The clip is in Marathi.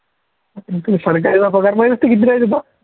सरकारचा पगार माहित असतो किती काय देतो.